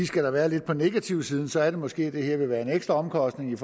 skal der være lidt på negativsiden så er det måske at det her vil være en ekstra omkostning i